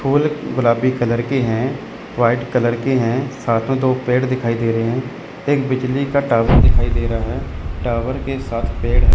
फूल गुलाबी कलर के हैं व्हाइट कलर के हैं साथ मे दो पेड़ दिखाई दे रहे हैं एक बिजली का टॉवर दिखाई दे रहा है टॉवर के साथ पेड़ है।